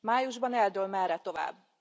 Májusban eldől, merre tovább.